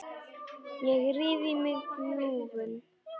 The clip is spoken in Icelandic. Ég ríf í mig bjúgun.